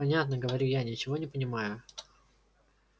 понятно говорю я ничего не понимая